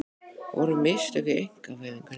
Voru mistök í einkavæðingunni?